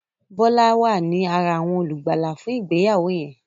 Bola wá ní àrà awọn olùgbàlà fún ìgbéyàwó yen.